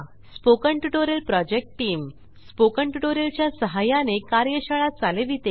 spoken tutorial project team spoken tutorial च्या सहाय्याने कार्यशाळा चालविते